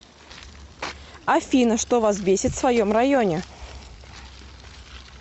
афина что вас бесит в своем районе